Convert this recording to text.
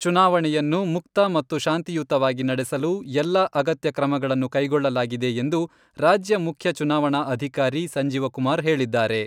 ಚುನಾವಣೆಯನ್ನು ಮುಕ್ತ ಮತ್ತು ಶಾಂತಿಯುತವಾಗಿ ನಡೆಸಲು ಎಲ್ಲ ಅಗತ್ಯ ಕ್ರಮಗಳನ್ನು ಕೈಗೊಳ್ಳಲಾಗಿದೆ ಎಂದು ರಾಜ್ಯ ಮುಖ್ಯ ಚುನಾವಣಾ ಅಧಿಕಾರಿ ಸಂಜೀವ ಕುಮಾರ್ ಹೇಳಿದ್ದಾರೆ.